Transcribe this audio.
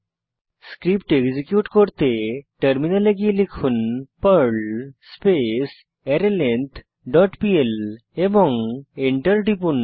script execute করতে টার্মিনালে গিয়ে লিখুন Perl space array length dot PL এবং এন্টার টিপুন